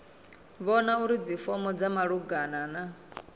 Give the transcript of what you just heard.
vhona uri dzifomo dza malugana